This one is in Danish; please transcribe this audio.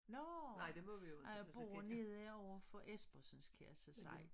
Nårh nej jeg bor nede overfor Espersens kan jeg så sige